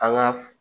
An ka